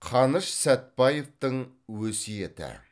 қаныш сәтбаевтың өсиеті